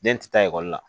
Den tɛ taa ekɔli la